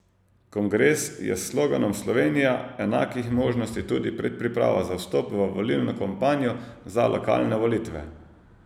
Kongres je s sloganom Slovenija enakih možnosti tudi predpriprava za vstop v volilno kampanjo za lokalne volitve.